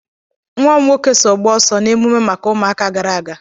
Nwa m nwoke so gbaa ọsọ na emume maka ụmụaka gara aga.